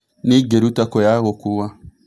nĩĩ Ingĩruta kũ ya gũkuua